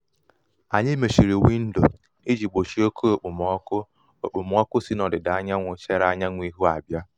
anyị mechiri windo iji gbochie oke okpomọkụ okpomọkụ si n'ọdida anyanwụ chere anwụ ihu abịa